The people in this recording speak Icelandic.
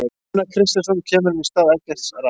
Gunnar Kristjánsson kemur inn í stað Eggerts Rafns.